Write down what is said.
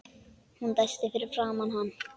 Hún dæsti fyrir framan hann.